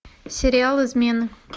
сериал измены